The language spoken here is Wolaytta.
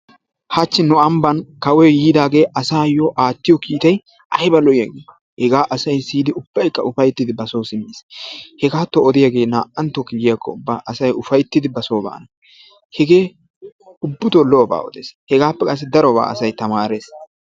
Hachchi nu ambban kawoy yiidaagee asaayyo aattiyo kiitay ayba lo"iyagee? Hegaa asay siyidi ubbaykka ufayttiiddi basoo simmiis. Hegaatto odiyagee naa"anttokka yiyakkokka asay ufayttidi basoo baana. Hegee ubbatoo lo"obaa odees. Hegaappe qassi lo"obaa asay tamaarees.